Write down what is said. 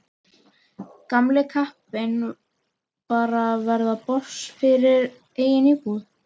Gamli kappinn bara að verða boss yfir eigin búð.